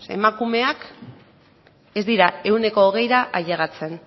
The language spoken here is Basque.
ze emakumeak ez dira ehuneko hogeira ailegatzen